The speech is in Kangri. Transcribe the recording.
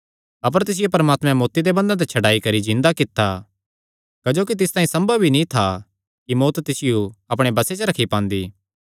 अपर तिसियो परमात्मैं मौत्ती दे बंधना ते छड्डाई करी जिन्दा कित्ता क्जोकि तिस तांई सम्भव ई नीं था कि मौत्त तिसियो अपणे बसे च रखी पांदी